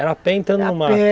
Era a pé entrando era a pé.